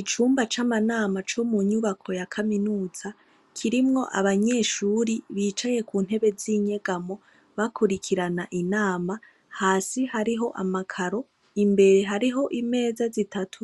Icumba camanama comunyubako ya kaminuza kirimwo abanyeshure bicaye kuntebe zinyegamo bakurikirana inama hasi hariho amakaro imbere hariho imeza zitatu